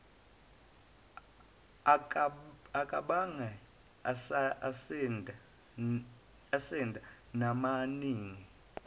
akabange esanda namaningi